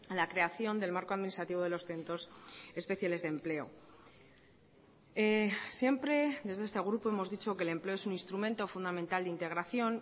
la creación del marco administrativo de los centros especiales de empleo siempre desde este grupo hemos dicho que el empleo es un instrumento fundamental de integración